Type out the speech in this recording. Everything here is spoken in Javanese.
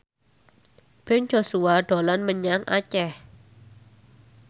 Ben Joshua dolan menyang Aceh